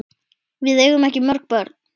Við eigum ekki mörg börn.